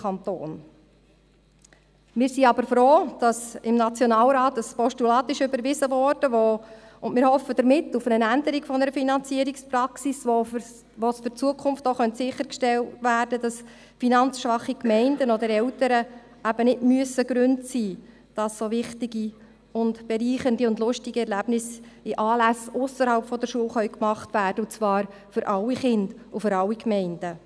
Wir sind aber froh, dass im Nationalrat das Postulat überwiesen wurde und hoffen damit auf eine Änderung der Finanzierungspraxis, mit der in Zukunft sicher gestellt werden könnte, dass finanzschwache Gemeinden oder Eltern nicht Gründe sein müssen, dass so wichtige, bereichernde und lustige Erlebnisse an Anlässen ausserhalb der Schule stattfinden können, und zwar für alle Kinder und für alle Gemeinden.